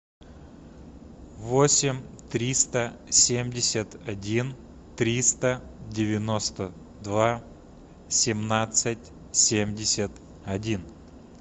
восемь триста семьдесят один триста девяносто два семнадцать семьдесят один